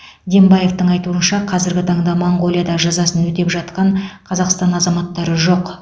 дембаевтың айтуынша қазіргі таңда моңғолияда жазасын өтеп жатқан қазақстан азаматтары жоқ